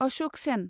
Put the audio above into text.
Ashok Sen